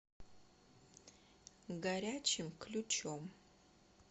горячим ключом